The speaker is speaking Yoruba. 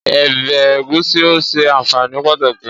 Ọbẹ̀ Egusi o sẹ anfaani pataki.